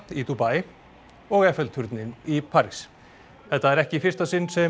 í Dubai og turninn í París þetta er ekki í fyrsta sinn sem